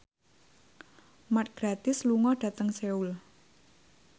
Mark Gatiss lunga dhateng Seoul